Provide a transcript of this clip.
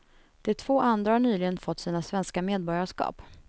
De två andra har nyligen fått sina svenska medborgarskap.